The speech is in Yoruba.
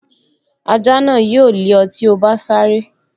Ajá náà yóò lé ọ tí o bá sáré